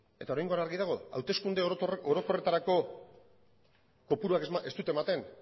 eta oraingoan argi dago hauteskunde orokorretarako kopuruak ez dute ematen